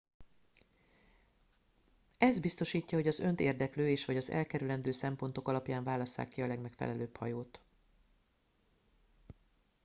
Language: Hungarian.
ez biztosítja hogy az önt érdeklő és/vagy az elkerülendő szempontok alapján válasszák ki a legmegfelelőbb hajót